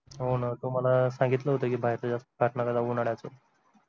होना तुम्हाला सांगितलं होत की बाहेरच जास्त खात नका जाऊ उन्हाळ्याचं